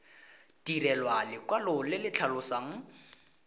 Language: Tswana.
direlwa lekwalo le le tlhalosang